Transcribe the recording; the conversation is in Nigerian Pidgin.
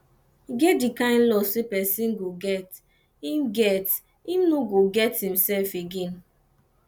e get di kine loss wey person go get im get im no go get im self again